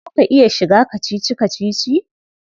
Za ka iya shiga kacici-kacici?